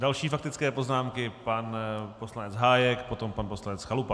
Další faktické poznámky: pan poslanec Hájek, potom pan poslanec Chalupa.